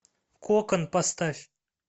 кокон поставь